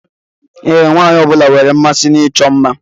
Ee, nwaanyị ọbụla nwere mmasị na ịchọ mma.